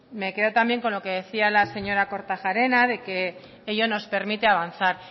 me quedo también con lo que decía la señora kortajarena de que ello nos permite avanzar